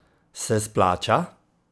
Se splača?